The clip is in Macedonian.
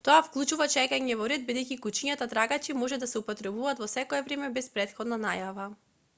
тоа вклучува чекање во ред бидејќи кучињата трагачи може да се употребат во секое време без претходна најава